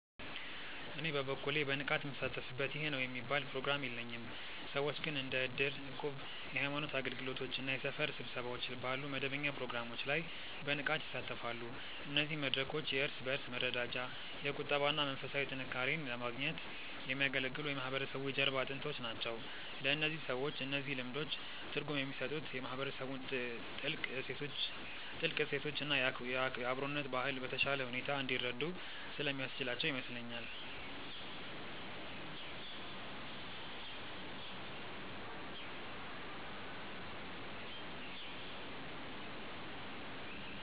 እኔ በበኩሌ በንቃት ምሳተፍበት ይህ ነው የሚባል ፕሮግራም የለኝም። ሰዎች ግን እንደ እድር፣ እቁብ፣ የሃይማኖት አገልግሎቶች እና የሰፈር ስብሰባዎች ባሉ መደበኛ ፕሮግራሞች ላይ በንቃት ይሳተፋሉ። እነዚህ መድረኮች የእርስ በእርስ መረዳጃ፣ የቁጠባ እና መንፈሳዊ ጥንካሬን ለማግኘት የሚያገለግሉ የማህበረሰቡ የጀርባ አጥንቶች ናቸው። ለእነዚህ ሰዎች እነዚህ ልምዶች ትርጉም የሚሰጡት የማህበረሰቡን ጥልቅ እሴቶች እና የአብሮነት ባህል በተሻለ ሁኔታ እንዲረዱ ስለሚያስችላቸው ይመስለኛል።